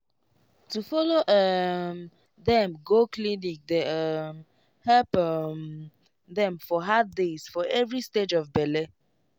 to follow um dem go clinic dey um help um dem for hard days for every stage of bele